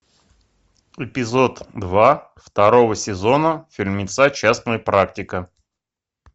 эпизод два второго сезона фильмеца частная практика